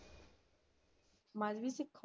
ਮਜ਼ਬੀ ਸਿੱਖ ਹੋ?